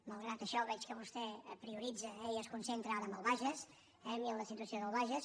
malgrat això veig que vostè prioritza i es concentra ara en el bages i en la situació del bages